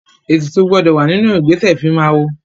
Ètùtù gbọdọ̀ wà nínú ìgbésẹ̀ ìfimáwo.